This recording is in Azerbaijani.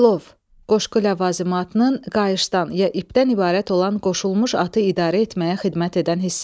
Cilov, qoşqu ləvazimatının qayışdan ya ipdən ibarət olan qoşulmuş atı idarə etməyə xidmət edən hissəsi.